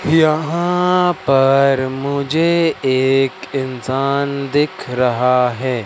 यहां पर मुझे एक इंसान दिख रहा है।